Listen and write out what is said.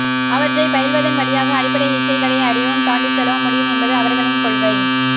அவற்றைப் பயில்வதன் வழியாக அடிப்படை இச்சைகளை அறியவும் தாண்டிச்செல்லவும் முடியும் என்பது அவர்களின் கொள்கை